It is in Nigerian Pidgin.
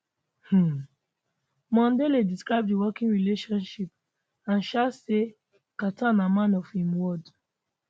um mondale describe di working relationship and um say carter na man of im word